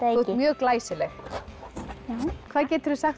þú ert mjög glæsileg takk hvað geturðu sagt